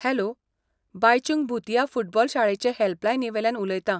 Hello, Baichung Bhutia football शाळेचे हेल्पलायनीवेल्यान उलयतां.